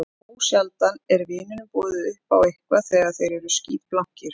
Ósjaldan er vinunum boðið upp á eitthvað þegar þeir eru skítblankir.